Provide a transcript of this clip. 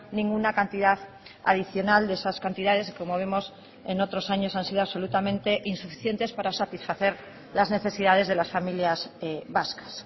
ninguna cantidad adicional de esas cantidades como vemos en otros años han sido absolutamente insuficientes para satisfacer las necesidades de las familias vascas